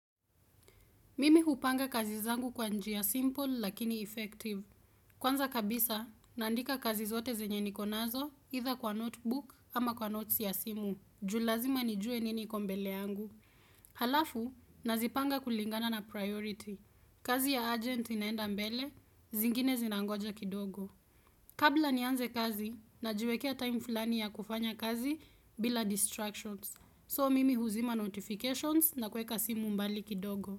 Mimi hupanga kazi zangu kwa njia simple lakini effective. Kwanza kabisa, nandika kazi zote zenye nikonazo, itha kwa notebook ama kwa notes ya simu. Juu lazima nijue nini kombele angu. Halafu, nazipanga kulingana na priority. Kazi ya agent inaenda mbele, zingine zinangoja kidogo. Kabla nianze kazi, na jiwekea time filani ya kufanya kazi bila distractions. So, mimi huzima notifications na kweka simu mbali kidogo.